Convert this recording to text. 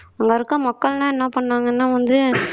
அங்க இருக்க மக்கள் எல்லாம் என்ன பண்ணாங்கன்னா வந்து